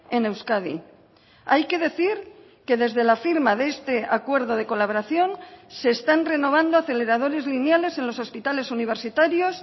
en euskadi hay que decir que desde la firma de este acuerdo de colaboración se están renovando aceleradores lineales en los hospitales universitarios